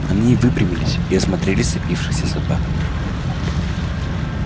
они выпрямились и осмотрели сцепившихся собак